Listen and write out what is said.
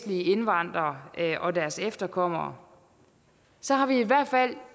indvandrere og deres efterkommere så har vi i hvert fald